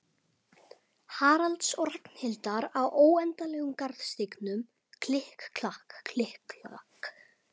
Haralds og Ragnhildar á óendanlegum garðstígnum, klikk-klakk, klikk-klakk.